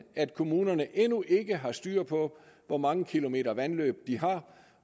at kommunerne endnu ikke har styr på hvor mange kilometer vandløb de har